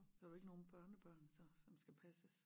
Så har du ikke nogen børnebørn så som skal passes